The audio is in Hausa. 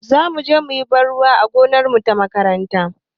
Zamu je muyi ban ruwa a gonarmu ta makaranta